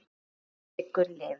Minning Siggu lifir.